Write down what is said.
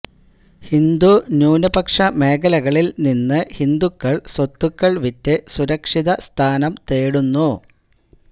ഹിന്ദു ന്യൂനപക്ഷ മേഖലകളില് നിന്ന് ഹിന്ദുക്കള് സ്വത്തുക്കള് വിറ്റ് സുരക്ഷിത സ്ഥാനം തേടുന്നു